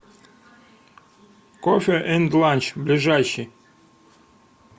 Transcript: кофе энд ланч ближайший